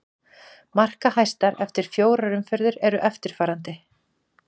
Markahæstar eftir í fjórar umferð eru eftirfarandi: